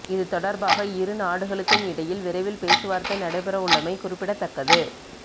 இது தொடர்பாக இரு நாடுகளுக்கும் இடையில் விரைவில் பேச்சுவார்த்தை நடைபெறவுள்ளமை குறிப்பிடத்தக்கது